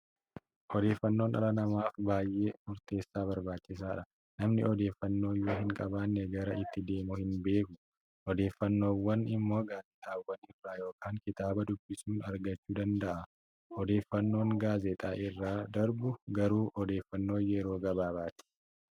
Odeeffaannoon dhala namaaf baay'ee murteessaa barbaachisaadha. Namni odeeffannoo yoo hin qabaanne gara itti deemu hin beeku. Odeeffannoowwan immoo gaazexaawwan irraa yookaan kitaaba dubbisuun argachuu danda'a. Odeeffannoon gaazexaa irratti darbu garuu odeeffannoo yeroo gabaabaati.